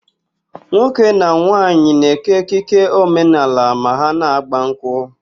Nwoke na nwaanyị na-ékè ekike omenaala ma ha na-ágbà nkwụ.